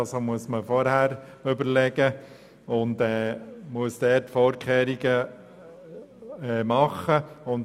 Deshalb muss man sich vorher Überlegungen machen und Vorkehrungen treffen.